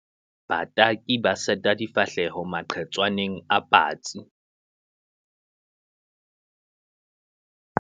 bataki ba seta difahleho maqhetswaneng a patsi